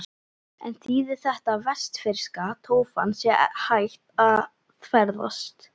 En þýðir þetta að vestfirska tófan sé hætt að ferðast?